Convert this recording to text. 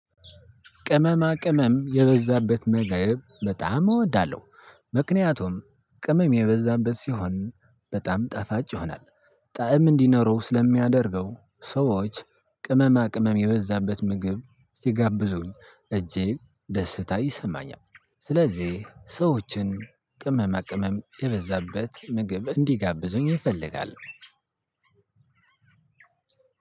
ቅመማ ቅመም የበዛበት ምግብ በጣም እወዳለሁ ምክንያቱም ቅመም የበዛበት ሲሆን በጣም ጣፋጭ ይሆናል። ጣዕም እንዲኖረው ስለሚያደርገው ሰዎች ቅመማ ቅመም የበዛበት ምግብ ሲጋብዙኝ እጅግ ደስታ ይሰማኛል። ስለዚህ ሰዎችን ቅመማ ቅመም የበዛበት ምግብ እንዲጋብዙኝ እፈልጋለው።